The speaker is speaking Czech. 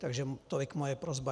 Takže tolik moje prosba.